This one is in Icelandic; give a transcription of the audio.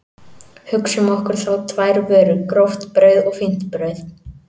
Hugsum okkur þá tvær vörur, gróft brauð og fínt brauð.